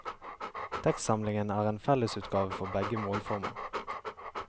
Tekstsamlingen er en fellesutgave for begge målformer.